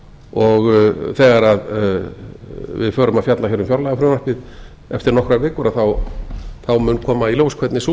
og þegar við förum að fjalla hér um fjárlagafrumvarpið eftir nokkrar vikur þá mun koma í ljós hvernig sú